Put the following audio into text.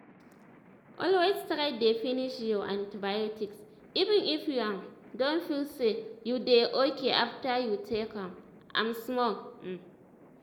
always try dey finish your antibiotics even if you um don feel say you dey okay after you take um am small. um